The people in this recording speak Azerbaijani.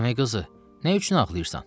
Əmi qızı, nə üçün ağlayırsan?